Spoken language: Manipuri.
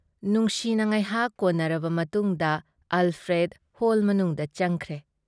ꯅꯨꯡꯁꯤꯅ ꯉꯥꯏꯍꯥꯛ ꯀꯣꯟꯅꯔꯕ ꯃꯇꯨꯡꯗ ꯑꯜꯐ꯭ꯔꯦꯗ ꯍꯣꯜ ꯃꯅꯨꯡꯗ ꯆꯪꯈ꯭ꯔꯦ꯫